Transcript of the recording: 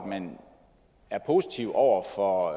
man er positiv over for